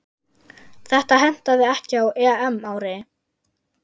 Þetta hentaði ekki á EM-ári.